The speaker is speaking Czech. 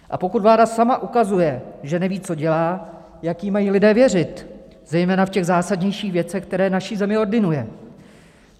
A pokud vláda sama ukazuje, že neví, co dělá, jak jí mají lidé věřit, zejména v těch zásadnějších věcech, které naší zemi ordinuje?